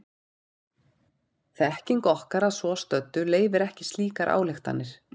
Þekking okkar að svo stöddu leyfir ekki slíkar ályktanir.